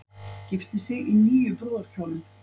Gifti sig í níu brúðarkjólum